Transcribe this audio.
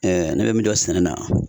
ne bɛ min dɔn sɛnɛna